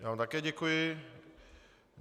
Já vám také děkuji.